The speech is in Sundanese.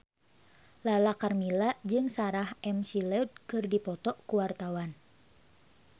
Lala Karmela jeung Sarah McLeod keur dipoto ku wartawan